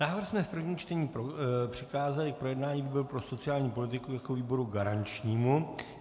Návrh jsme v prvním čtení přikázali k projednání výboru pro sociální politiku jako výboru garančnímu.